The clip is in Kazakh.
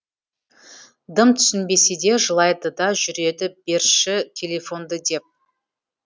дым түсінбесе де жылайды да жүреді берші телефонды деп